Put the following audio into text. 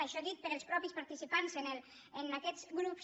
això dit pels mateixos participants en aquests grups